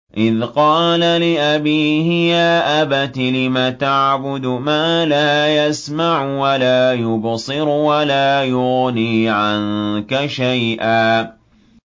إِذْ قَالَ لِأَبِيهِ يَا أَبَتِ لِمَ تَعْبُدُ مَا لَا يَسْمَعُ وَلَا يُبْصِرُ وَلَا يُغْنِي عَنكَ شَيْئًا